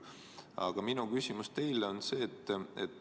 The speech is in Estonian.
Aga minu küsimus teile on see.